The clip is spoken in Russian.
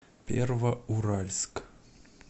первоуральск